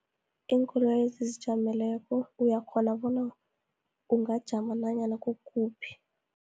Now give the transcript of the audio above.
Iinkoloyi ezizijameleko uyakghona bona, ungajama nanyana kukuphi.